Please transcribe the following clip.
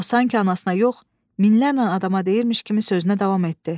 O sanki anasına yox, minlərlə adama deyirmiş kimi sözünə davam etdi.